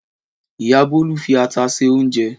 Ìyá Bólú fi ata se oúnjẹ.